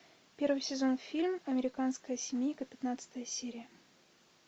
первый сезон фильм американская семейка пятнадцатая серия